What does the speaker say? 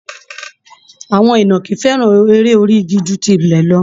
Àwọn ìnàkí fẹ́ràn eré orí igi ju tilẹ̀ lọ